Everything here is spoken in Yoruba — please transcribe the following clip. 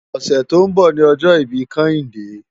Òsè tó n bò ni òjò ibi Kehinde